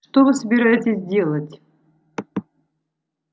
что вы собираетесь делать